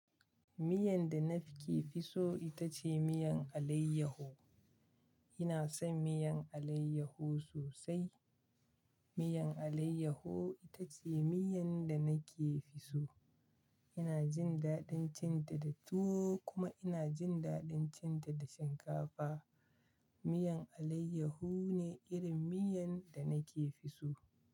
Miyan da na ke fi so ita ce miyan alayyaho. Ina son miyan alayyaho sosai. Miyan alayyaho ita ce miyan da nake fi so. Ina jin daɗin cin ta da tuwo kuma ina jin daɗin cin ta da shinkafa. Miyan alayyaho ne irin miyan da nake fi so.